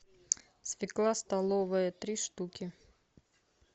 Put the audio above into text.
свекла столовая три штуки